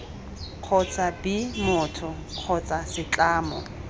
kgotsa b motho kgotsa setlamo